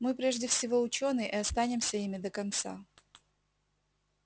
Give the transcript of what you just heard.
мы прежде всего учёные и останемся ими до конца